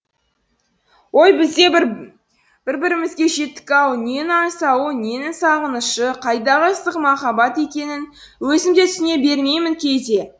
ой біз де бір бір бірімізге жеттік ау ненің аңсауы ненің сағынышы қайдағы ыстық махаббат екенін өзім де түсіне бермеймін кейде